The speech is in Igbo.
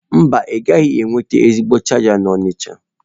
Mba, ịgaghị enweta ezigbo chaja n'Onitsha.